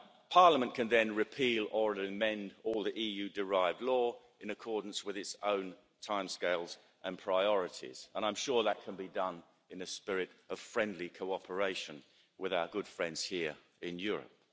Parliament can then repeal or amend all the EU derived law in accordance with its own timescales and priorities, and I'm sure that can be done in a spirit of friendly cooperation with our good friends here in Europe.